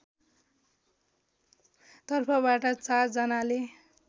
तर्फबाट ४ जनाले